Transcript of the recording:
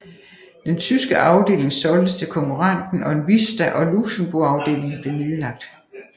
Den tyske afdeling solgtes til konkurrenten Onvista og Luxembourgafdelingen blev nedlagt